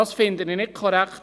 Das finde ich nicht korrekt.